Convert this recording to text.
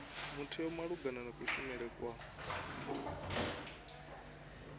mutheo malugana na kushumele kwa